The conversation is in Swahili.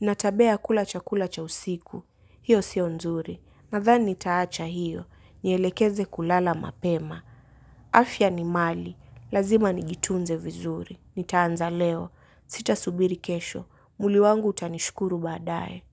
Nina tabia ya kula chakula cha usiku. Hiyo sio nzuri. Nadhani nitaacha hiyo. Nyelekeze kulala mapema. Afya ni mali. Lazima nijitunze vizuri, nitaanza leo, sita subiri kesho, mwili wangu utanishukuru baadaye.